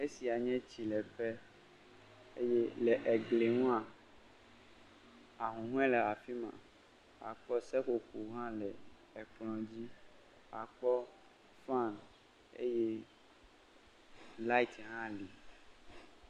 Esia nye tsileƒe. Le egliŋua ahuhɔɛ le afima. Akpɔ seƒoƒo hã le kpla dz akpɔ fan eye light hã li.